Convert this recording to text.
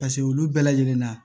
Paseke olu bɛɛ lajɛlen na